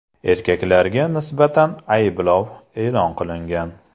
Erkaklarga nisbatan ayblov e’lon qilingan.